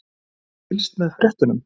Hefurðu ekki fylgst með fréttunum?